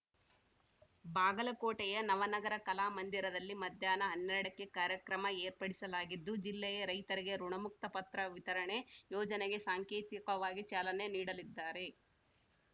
ಬಾಗಲಕೋಟೆಯ ನವನಗರ ಕಲಾಮಂದಿರಲ್ಲಿ ಮಧ್ಯಾಹ್ನ ಹನ್ನೆರಡಕ್ಕೆ ಕಾರ್ಯಕ್ರಮ ಏರ್ಪಡಿಸಲಾಗಿದ್ದು ಜಿಲ್ಲೆಯ ರೈತರಿಗೆ ಋುಣಮುಕ್ತ ಪತ್ರ ವಿತರಣೆ ಯೋಜನೆಗೆ ಸಾಂಕೇತಿಕವಾಗಿ ಚಾಲನೆ ನೀಡಲಿದ್ದಾರೆ